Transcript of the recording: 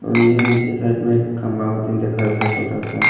और इहाँ नीचे साइड में खम्भा मतीन देखात बा छोटा सा।